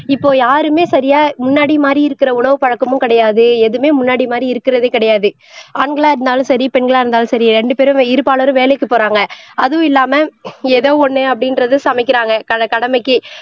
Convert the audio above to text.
இப்போ யாருமே சரியா முன்னாடி மாதிரி இருக்கிற உணவு பழக்கமும் கிடையாது எதுவுமே முன்னாடி மாதிரி இருக்கிறதே கிடையாது ஆண்களா இருந்தாலும் சரி பெண்களா இருந்தாலும் சரி ரெண்டு பேரும் இருபாலரும் வேலைக்கு போறாங்க அதுவும் இல்லாம ஏதோ ஒண்ணு அப்படின்றது சமைக்கிறாங்க கட கடமைக்கு